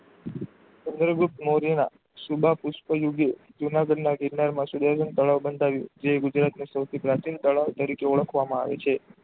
ચંદ્રગુપ્ત મોર્ય ના સીમા પુષ્પ નુ જુનાગઢ ના ગિરનાર માં સુરેન્દ્ર તળાવ બંધાયું જે ગુજરત નું સૌથી પ્રાચીન તળાવ તરીકે ઓળખવામાં આવે છે.